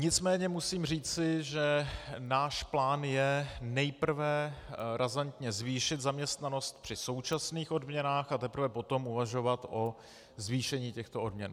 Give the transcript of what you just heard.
Nicméně musím říci, že náš plán je nejprve razantně zvýšit zaměstnanost při současných odměnách, a teprve potom uvažovat o zvýšení těchto odměn.